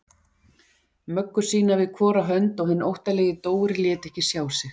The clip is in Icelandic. Möggu sína við hvora hönd og hinn óttalegi Dóri lét ekki sjá sig.